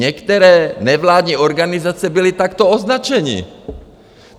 Některé nevládní organizace byly takto označeny.